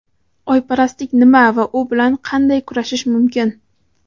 Oyparastlik nima va u bilan qanday kurashish mumkin?.